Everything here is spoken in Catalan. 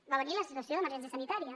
va venir la situació d’emergència sanitària